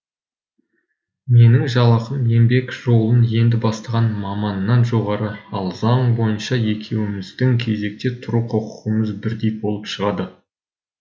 менің жалақым еңбек жолын енді бастаған маманнан жоғары ал заң бойынша екеуміздің кезекте тұру құқығымыз бірдей болып шығады